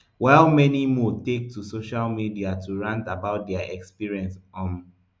while many more take to social media to rant about dia experience um